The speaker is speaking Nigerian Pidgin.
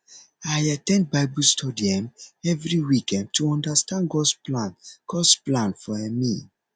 i at ten d bible study um every week um to understand gods plan gods plan for um me